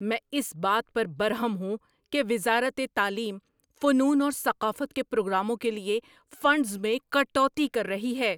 میں اس بات پر برہم ہوں کہ وزارت تعلیم فنون اور ثقافت کے پروگراموں کے لیے فنڈز میں کٹوتی کر رہی ہے۔